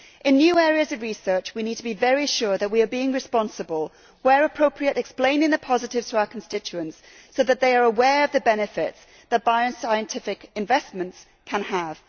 In new areas of research we need to be very sure that we are being responsible and, where appropriate, explaining the positive aspects to our constituents so that they are aware of the benefits that bioscientific investments can have.